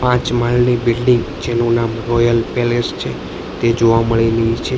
પાંચ માળની બિલ્ડિંગ જેનુ નામ રોયલ પેલેસ છે તે જોવા મળેલી છે.